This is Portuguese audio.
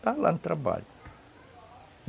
Estava lá no trabalho.